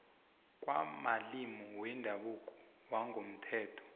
kwamalimi wendabuko wangokomthetho